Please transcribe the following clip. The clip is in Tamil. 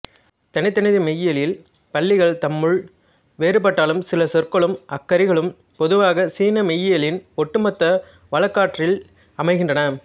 தனிதனி மெய்யியல் பள்ளிகள் தம்முள் வேறுபட்டாலும் சில சொற்களும் அக்கறிகளும் பொதுவாக சீன மெய்யியலின் ஒட்டுமொத்த வழக்காற்றில் அமைகின்றன